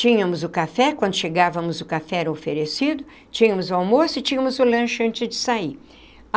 Tínhamos o café, quando chegávamos o café era oferecido, tínhamos o almoço e tínhamos o lanche antes de sair.